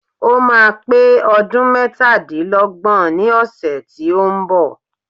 Ó máa pé ọdún mẹ́tadílọ́gbọ̀n ní ọ̀sẹ̀ tí ó ń bọ̀.